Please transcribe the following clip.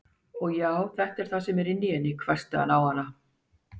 Já, og þetta er það sem er innan í henni, hvæsti hann á hana.